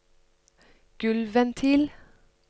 gulvventil